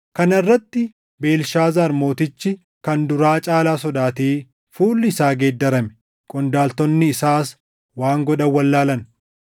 Kana irratti Beelshaazaar mootichi kan duraa caalaa sodaatee fuulli isaa geeddarame; qondaaltonni isaas waan godhan wallaalan.